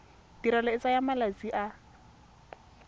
tirelo e tsaya malatsi a